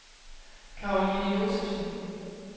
Caroline Josefsen